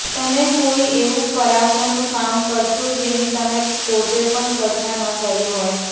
તમે કોઈ એવુ પરાક્રમનું કામ કરશો જેની તમે પોતે પણ કલ્પના ન કરી હોય